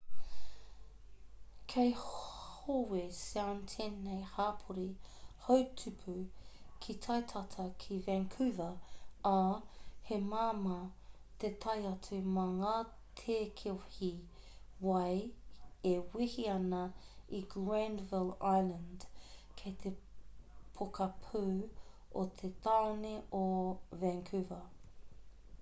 kei howe sound tēnei hapori houtupu ki tai tata ki vancouver ā he māmā te tae atu mā ngā tēkehi wai e wehe ana i granville island kei te pokapū o te tāone o vancouver